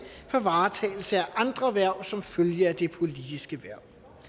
for varetagelse af andre hverv som følge af det politiske hverv